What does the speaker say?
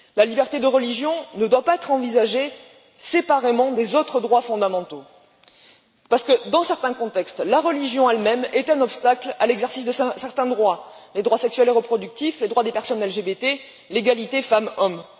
La liberté de religion ne doit pas être envisagée séparément des autres droits fondamentaux parce que, dans certains contextes, la religion elle même est un obstacle à l'exercice de certains droits les droits sexuels et reproductifs, les droits des personnes LGBT, l'égalité femmes hommes.